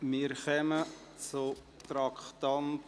Wir kommen zum Traktandum 7.